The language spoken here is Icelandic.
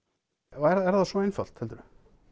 er það svo einfalt heldurðu